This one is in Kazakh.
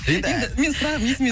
енді менің сұрағым есіме